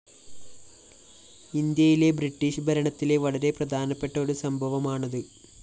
ഇന്ത്യയിലെ ബ്രിട്ടീഷ് ഭരണത്തിലെ വളരെ പ്രധാനപ്പെട്ട ഒരു സംഭവമാണത്